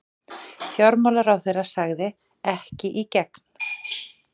Fjármálaráðherra sagði: Ekki í gegn.